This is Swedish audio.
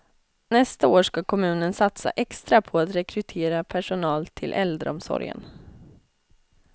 Nästa år ska kommunen satsa extra på att rekrytera personal till äldreomsorgen.